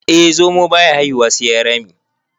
eh zomo. baya haihuwa sai ya yi Rami